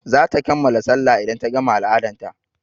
zata kammala sallah idan ta gama al-adan ta.